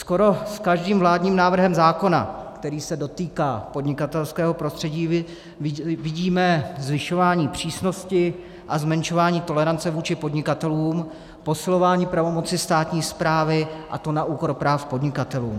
Skoro s každým vládním návrhem zákona, který se dotýká podnikatelského prostředí, vidíme zvyšování přísnosti a zmenšování tolerance vůči podnikatelům, posilování pravomoci státní správy, a to na úkor práv podnikatelů.